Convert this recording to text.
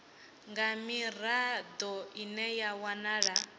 nga mirado ine ya wanala